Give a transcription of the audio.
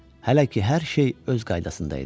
Hələ ki hər şey öz qaydasında idi.